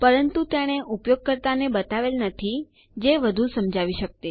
પરંતુ તેણે ઉપયોગકર્તા ને બતાવેલ નથી જે વધુ સમજાવી શકતે